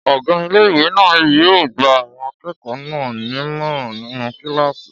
Ọgá ilé-ìwé náà yóò gba àwọn akẹ́kọ̀ọ́ náà nímọ̀ràn nínú kílàsì